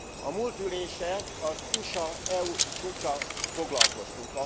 A múlt ülésen az USA EU csúccsal foglalkoztunk.